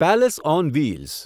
palace on wheels